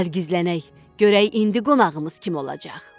Gəl gizlənək, görək indi qonağımız kim olacaq.